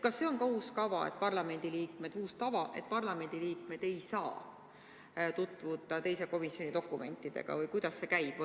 Kas see on uus tava, et parlamendiliikmed ei saa tutvuda teise komisjoni dokumentidega, või kuidas see käib?